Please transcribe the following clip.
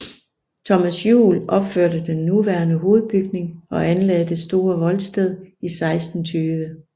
Thomas Juel opførte den nuværende hovedbygning og anlagde det store voldsted i 1620